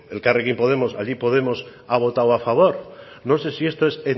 elkarrekin podemos ha votado a favor no sé si esto es